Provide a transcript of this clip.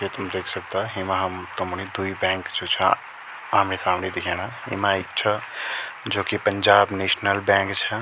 ये तुम देख सकदा हेमा हम तुमणि द्वि बैंक जू छा आमणि-सामणि दिखेणा येमा एक छ जू की पंजाब नेशनल बैंक छा।